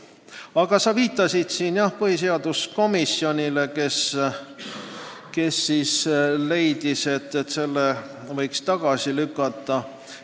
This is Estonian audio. Aga sa viitasid põhiseaduskomisjonile, kes leidis, et eelnõu võiks tagasi lükata.